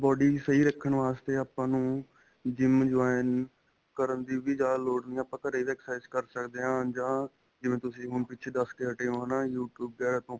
body ਸਹੀਂ ਰੱਖਣ ਵਾਸਤੇ ਆਪਾਂ ਨੂੰ GYM join ਕਰਨ ਦੀ ਜਿਆਦਾ ਲੋੜ ਨਹੀਂ ਆਪਾਂ ਘਰੇ ਵੀ exercise ਕਰ ਸਕਦੇ ਹਾਂ ਜਾਂ ਜਿਵੇਂ ਹੁਣ ਤੁਸੀਂ ਪਿੱਛੇ ਦੱਸ ਕੇ ਹਟੇ ਹੋ ਹੈਨਾ you tube ਵਗੈਰਾ ਤੋਂ